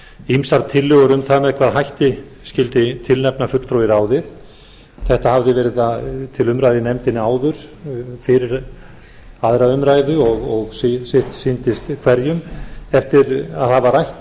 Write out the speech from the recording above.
ýmsar tillögur um það með hvaða hætti skyldi tilnefna fulltrúa í ráðið þetta hafði verið til umræðu í nefndinni áður fyrir aðra umræðu og sitt sýndist hverjum eftir að hafa rætt